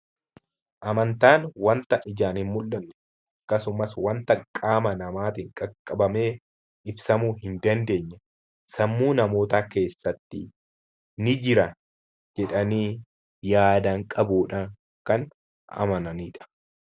Amantaan wanta ijaan hin mul'anne, akkasumas wanta qaama namaatiin qaqqabamee ibsamuu hin dandeenye, sammuu namootaa keessatti "ni jira" jedhanii yaadaan qabuudhaan kan amananii dha.